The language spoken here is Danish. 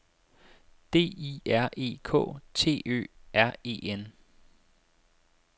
D I R E K T Ø R E N